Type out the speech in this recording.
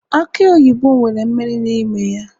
aki oyibo nwere mmiri n'ime ya